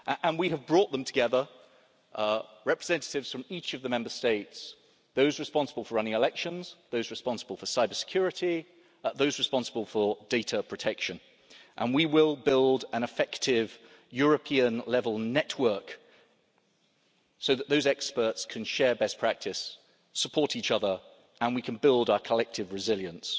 We have brought them together representatives from each of the Member States, those responsible for running elections, those responsible for cybersecurity, and those responsible for data protection and we will build an effective European-level network so that those experts can share best practice and support each other, and we can build our collective resilience.